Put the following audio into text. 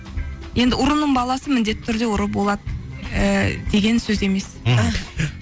енді ұрының баласы міндетті түрде ұры болады ііі деген сөз емес мхм